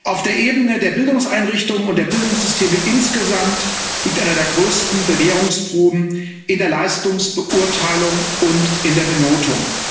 Auf der Ebene der Bildungseinrichtungen und der Bildungssysteme insgesamt liegt eine der größten Bewährungsproben in der Leistungsbeurteilung und in der Benotung.